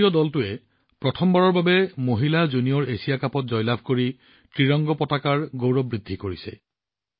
ভাৰতীয় দলটোৱে প্ৰথমবাৰৰ বাবে মহিলা জুনিয়ৰ এছিয়া কাপত জয়লাভ কৰি ত্ৰিৰংগাৰ গৌৰৱ বৃদ্ধি কৰিছে